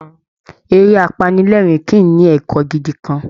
Eré apanilẹ́ẹ̀rín kì í ní ẹ̀kọ́ gidi kan